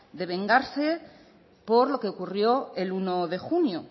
de vengarse por lo que ocurrió el uno de junio